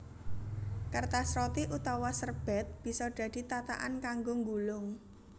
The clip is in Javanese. Kertas roti utawa serbèt bisa dadi tatakan kanggo nggulung